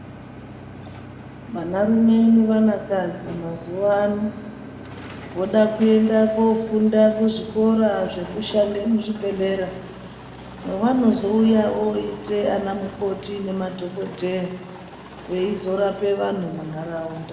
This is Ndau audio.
Vanarume nevanakadzi mazuva ano voda kuenda kofunda kuzvikora zvekuenda muzvibhedhlera mwavanozouya voite ana mukoti nemadhokoteya veizorape vantu mundaraunda.